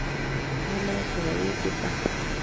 Kalabati awendi mbar